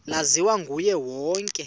laziwa nguye wonke